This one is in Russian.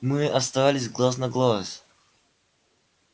мы остались глаз на глаз